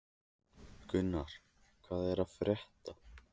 Gunnur, hvað er að frétta?